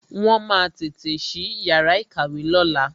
Wọn máa tètè sí yàrá ìkàwé lóla